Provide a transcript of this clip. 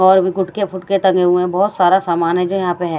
और भी गुटके फुटके तंगे हुए हैं बहुत सारा सामान है जो यहाँ पे है।